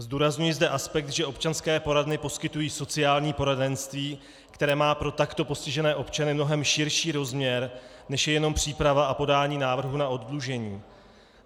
Zdůrazňuji zde aspekt, že občanské poradny poskytují sociální poradenství, které má pro takto postižené občany mnohem širší rozměr, než je jenom příprava a podání návrhu na oddlužení.